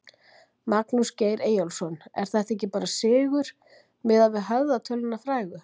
Magnús Geir Eyjólfsson: Er þetta ekki bara sigur miðað við höfðatöluna frægu?